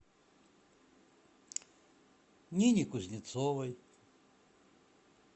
нине кузнецовой